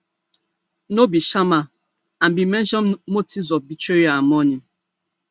no be sharma and bin mention motives of betrayal and money